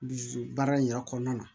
Dusu baara in yɛrɛ kɔnɔna na